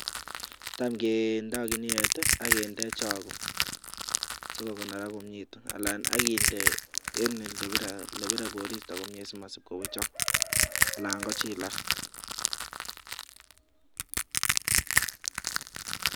Tamngendo kuniet ak kende chogo so konorak komnye anan inde olibire koristo komnye si mawaechok anan kochilak.